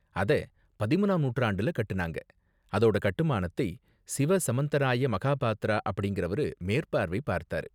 அத பதிமூனாம் நூற்றாண்டுல கட்டுனாங்க, அதோட கட்டுமானத்தை சிவ சமந்தராய மகாபாத்ரா அப்படிங்கிறவரு மேற்பார்வை பார்த்தாரு .